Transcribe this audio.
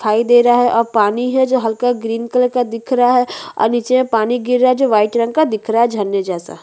दिखाई दे रहा है और पानी है जो हल्का ग्रीन कलर का दिख रहा है और नीचे पानी गिर रहा है जो व्हाईट कलर का दिख रहा है झरना जैसा --